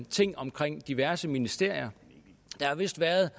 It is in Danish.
ting omkring diverse ministerier der har vist været